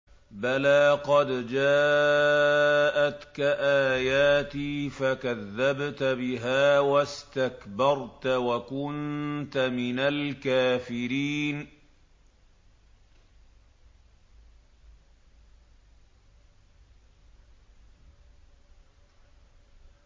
بَلَىٰ قَدْ جَاءَتْكَ آيَاتِي فَكَذَّبْتَ بِهَا وَاسْتَكْبَرْتَ وَكُنتَ مِنَ الْكَافِرِينَ